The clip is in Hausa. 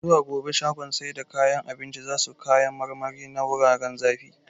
Zuwa gobe shagon sai da kayan abincin zasu kayan marmari na wuraren zafi